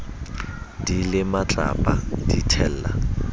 di le matlapa di thella